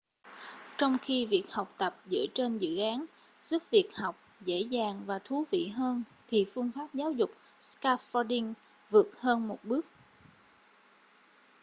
trong khi việc học tập dựa trên dự án giúp việc học dễ dàng và thú vị hơn thì phương pháp giáo dục scaffolding vượt hơn một bước